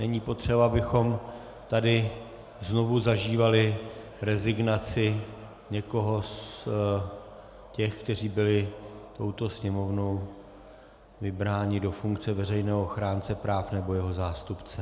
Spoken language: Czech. Není potřeba, abychom tady znovu zažívali rezignaci někoho z těch, kteří byli touto Sněmovnou vybráni do funkce veřejného ochránce práv nebo jeho zástupce.